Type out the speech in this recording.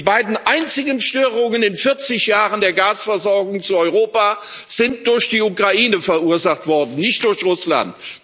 Und die beiden einzigen Störungen in 40 Jahren der Gasversorgung zu Europa sind durch die Ukraine verursacht worden, nicht durch Russland.